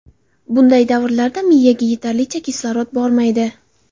Bunday davrlarda miyaga yetarlicha kislorod bormaydi.